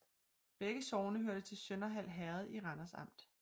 Begge sogne hørte til Sønderhald Herred i Randers Amt